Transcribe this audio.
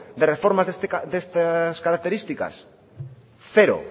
de reformas de estas características cero